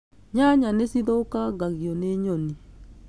Nyanaya nĩ cithũkangagio nĩ nyoni